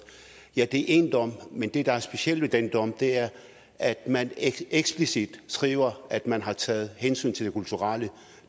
ja det er én dom men det der er specielt ved den dom er at man eksplicit skriver at man har taget hensyn til det kulturelle